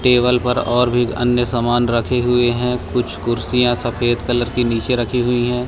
Table पर और भी अन्य सामान रखे हुए हैं कुछ कुर्सियां सफेद कलर की नीचे रखी हुई है।